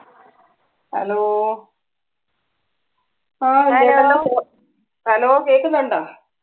Hello hello കേക്കുന്നണ്ടോ